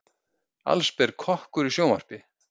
Allsber kokkur í sjónvarpi